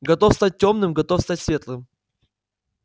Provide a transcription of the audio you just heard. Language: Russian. готов стать тёмным готов стать светлым